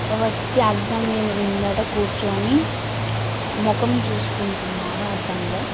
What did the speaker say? ఒక వ్యక్తి అడం ముందర కూర్చొని ముఖం చూసుకుంటున్నాడు అద్దంలో.